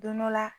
Don dɔ la